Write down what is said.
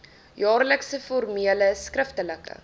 jaarlikse formele skriftelike